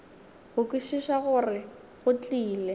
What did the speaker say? go kwešiša gore go tlile